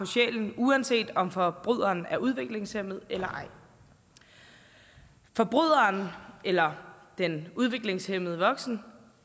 sjælen uanset om forbryderen er udviklingshæmmet eller ej forbryderen eller den udviklingshæmmede voksne